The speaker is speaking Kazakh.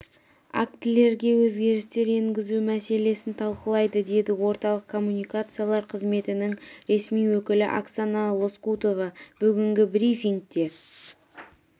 актілерге өзгерістер енгізу мәселесін талқылайды деді орталық коммуникациялар қызметінің ресми өкілі оксана лоскутова бүгінгі брифингте